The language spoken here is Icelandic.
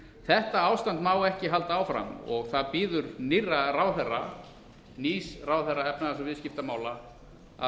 þetta ástand má ekki halda áfram það býður nýrra ráðherra nýs ráðherra efnahags og viðskiptamála að